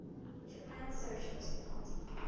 japan socialist party